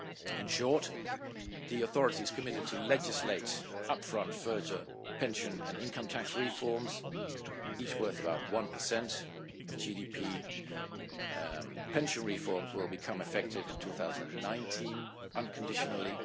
In short, the authorities committed to legislating up front further pension and income tax reforms, each worth about 1 of GDP. Pension reforms will become effective in 2019 unconditionally.